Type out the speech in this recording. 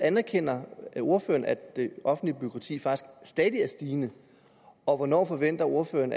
anerkender ordføreren at det offentlige bureaukrati faktisk stadig er stigende og hvornår forventer ordføreren